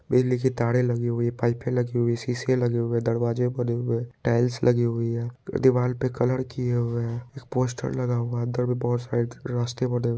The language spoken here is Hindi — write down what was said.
बिजली की तारे लगी हुई पाइपे लगी हुई शीशे लगे हुए दरवाजे बने हुए टाइल्स लगी हुई है दीवाल पे कलर किये हुए है एक पोस्टर लगा हुआ है अंदर भी बहुत सारे रास्ते बने हुए है।